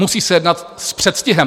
Musí se jednat s předstihem!